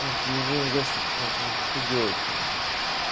вот лежу ящик смотрю а что делать-то